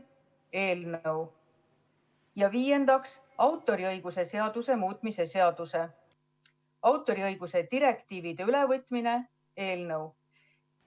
Ja viiendaks, autoriõiguse seaduse muutmise seaduse eelnõu.